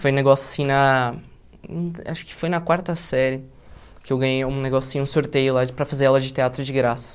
Foi um negócio assim na... Acho que foi na quarta série que eu ganhei um negócio assim, um sorteio lá para fazer aula de teatro de graça.